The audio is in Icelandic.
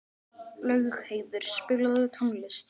Laugheiður, spilaðu tónlist.